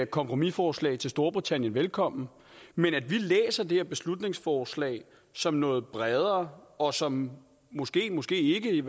kompromisforslag til storbritannien velkommen men at vi læser det her beslutningsforslag som noget bredere og som måskemåske ikke